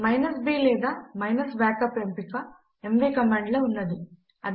b లేదా -backup ఎంపిక M V command లో ఉన్నది